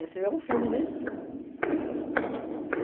é um filme, né? Uhum